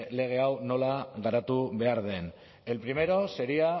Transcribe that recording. lege hau nola garatu behar den el primero sería